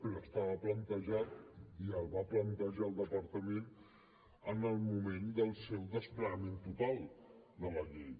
però estava plantejat i el va plantejar el departament en el moment del seu desplegament total de la llei